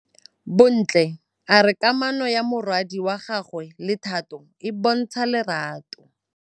Bontle a re kamanô ya morwadi wa gagwe le Thato e bontsha lerato.